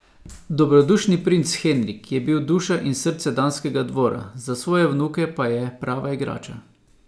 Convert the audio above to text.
Dobrodušni princ Henrik je bil duša in srce danskega dvora, za svoje vnuke pa je prava igrača.